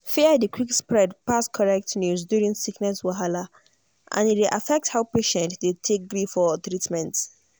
fear dey quick spread pass correct news during sickness wahala and e dey affect how patients dey take gree for treatment